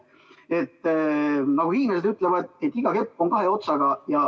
Nagu hiinlased ütlevad: iga kepp on kahe otsaga.